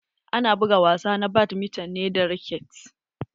Ana buga wasa na badminton ne da raket.